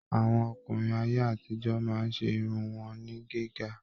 Àwọn ọkùnrin ayé àtijọ máa ṣe irun wọn ní gíga.